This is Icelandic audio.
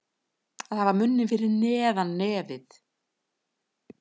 Að hafa munninn fyrir neðan nefið